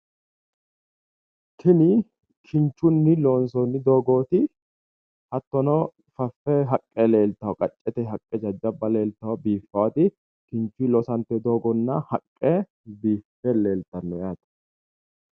Tini kinchunni loonsoonni doogooti hattono faffe haqqe leeltanno kinchunni loonsoonni doogo aana jajjabba haqqe leeltanno .